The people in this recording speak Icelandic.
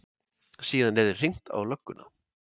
Síðan yrði hringt á lögguna.